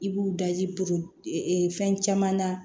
I b'u daji fɛn caman na